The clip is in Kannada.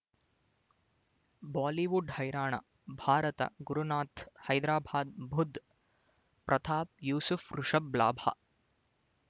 ಬಾಲಿವುಡ್ ಹೈರಾಣ ಭಾರತ ಗುರುನಾಥ್ ಹೈದರಾಬಾದ್ ಬುಧ್ ಪ್ರತಾಪ್ ಯೂಸುಫ್ ರಿಷಬ್ ಲಾಭ